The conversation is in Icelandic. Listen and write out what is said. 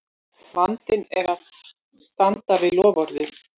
Vandinn er að standa við loforðið!